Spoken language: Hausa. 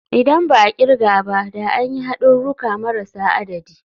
Idan ba a kirga ba da an yi hadurruka marasa adadi.